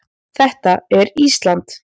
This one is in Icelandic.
Þetta er Ísland.